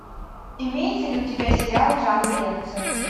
имеется ли у тебя сериал в жанре лекция